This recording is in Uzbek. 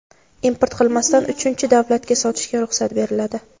import qilmasdan uchinchi davlatga sotishga ruxsat beriladi.